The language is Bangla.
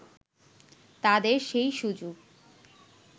তাদের সেই সুযোগ